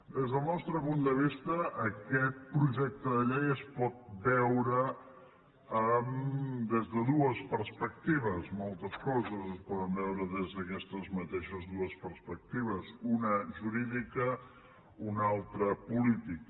des del nostre punt de vista aquest projecte de llei es pot veure des de dues perspectives moltes coses es poden veure des d’aquestes mateixes dues perspectives una jurídica una altra política